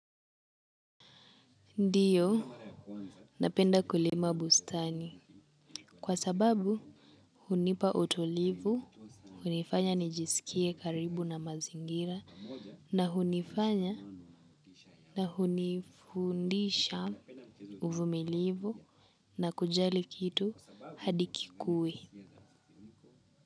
Ndiyo, napenda kulima bustani kwa sababu hunipa utulivu, hunifanya nijisikie karibu na mazingira na hunifanya na hunifundisha uvumilivu na kujali kitu hadi kikue.